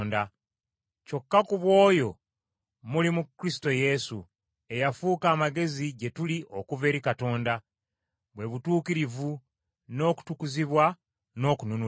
Kyokka ku bw’oyo muli mu Kristo Yesu, eyafuuka amagezi gye tuli okuva eri Katonda, bwe butuukirivu, n’okutukuzibwa, n’okununulibwa,